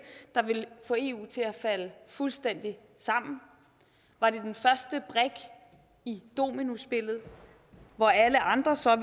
der ville få eu til at falde fuldstændig sammen var det den første brik i dominospillet hvor alle andre så